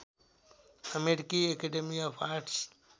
अमेरिकी academy of arts